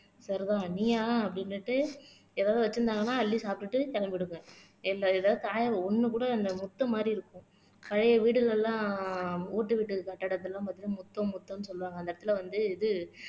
சரிதான் நீயா அப்படின்னுட்டு எதாவது வச்சிருந்தாங்கன்னா அள்ளி சாப்பிட்டுட்டு கிளம்பிடுங்க இல்லை ஏதாவது ஒண்ணு கூட அந்த முற்றம் மாதிரி இருக்கும் பழைய வீடுகள் எல்லாம் ஓட்டு வீடுகள் கட்டிடத்தை எல்லாம் பார்த்தீங்கன்னா முற்றம் முற்றம்ன்னு சொல்லுவாங்க அந்த இடத்துல வந்து இது